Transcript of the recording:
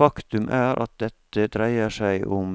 Faktum er at dette dreier seg om